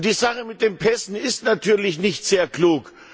Die Sache mit den Pässen ist natürlich nicht sehr klug.